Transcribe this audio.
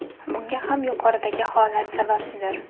Bunga ham yuqoridagi holat sababchidir.